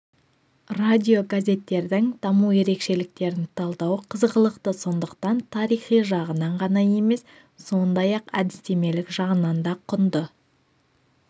радиогазеттердің даму ерекшеліктерін талдау қызғылықты сондықтан тарихи жағынан ғана емес сондай-ақ әдістемелік жағынан да құнды